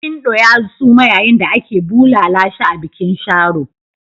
Barkindo ya suma yayin da ake bulala shi a bikin Sharo.